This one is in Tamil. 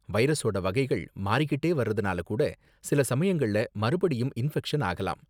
வைரஸோட வகைகள் மாறிக்கிட்டே வர்றதுனால கூட சில சமயங்கள்ல மறுபடியும் இன்ஃபெக்ஷன் ஆகலாம்.